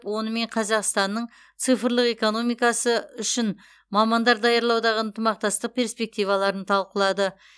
онымен қазақстанның цифрлық экономикасы үшін мамандар даярлаудағы ынтымақтастық перспективаларын талқылады